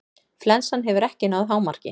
Flensan hefur ekki náð hámarki.